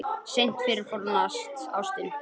Seint fyrnast fornar ástir.